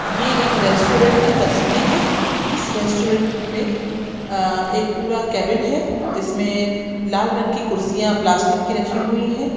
ये एक रेस्टोरेन्ट की तस्वीर है इस रेस्टोरेन्ट में आ एक पूरा केबिन है जिसमे लाल रंग की कुर्सियां प्लास्टिक की रखी हुई है।